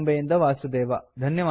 T Bombay ಯಿಂದ ವಾಸುದೇವ